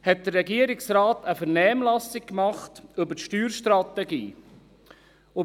2015 führte der Regierungsrat eine Vernehmlassung über die Steuerstrategie durch.